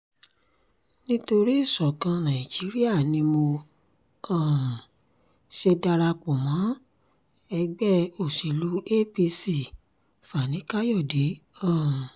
nítorí ìṣọ̀kan nàìjíríà ni mo um ṣe darapọ̀ mọ́ ẹgbẹ́ òsèlú apc-fani-kàyọ̀de um